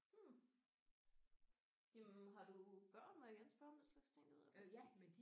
Hm jamen har du børn må jeg gerne spørge om den slags ting det ved jeg faktisk ikke